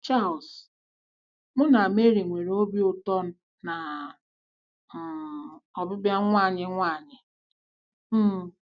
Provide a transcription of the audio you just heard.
Charles: *“ Mụ na Mary nwere obi ụtọ na um ọbịbịa nwa anyị nwanyị. um